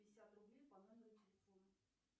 пятьдесят рублей по номеру телефона